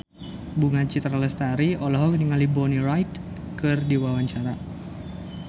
Bunga Citra Lestari olohok ningali Bonnie Wright keur diwawancara